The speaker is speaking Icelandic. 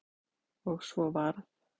Og svo varð.